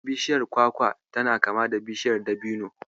Bishiyar kwakwa tana kama da Bishiyar Dabino.